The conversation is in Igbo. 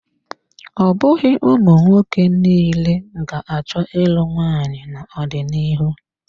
Ọ bụghị ụmụnwoke niile ga-achọ ịlụ nwaanyị n'ọdịnihu.